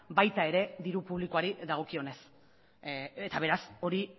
baita diru publikoari dagokionez ere eta beraz hori